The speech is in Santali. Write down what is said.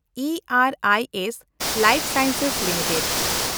E and E S life sciences limited